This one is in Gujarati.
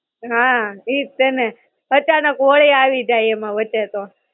હાં, ઈજ છે ને અચાનક હોળી આવી જાય એમાં વચ્ચે તો.